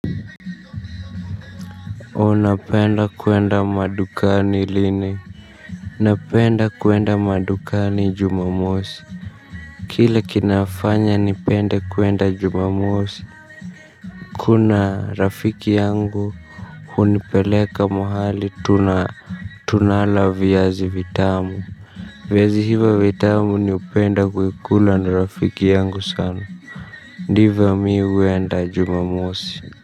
Unapenda kuenda madukani lini? Napenda kuenda madukani jumamosi. Kile kinafanya nipende kuenda jumamosi. Kuna rafiki yangu hunipeleka mahali tuna tunala viazi vitamu. Viazi hivo vitamu ni hupenda kuikula na rafiki yangu sana. Ndivyo mi huenda jumamosi.